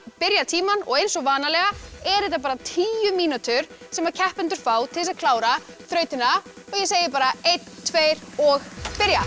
byrja tímann og eins og vanalega eru þetta bara tíu mínútur sem keppendur fá til þess að klára þrautina ég segi bara einn tveir og byrja